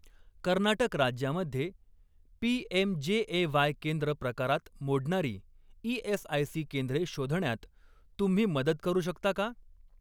कर्नाटक राज्यामध्ये पीएमजेएवाय केंद्र प्रकारात मोडणारी ई.एस.आय.सी. केंद्रे शोधण्यात तुम्ही मदत करू शकता का?